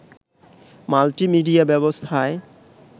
multimedia ব্যবস্থায়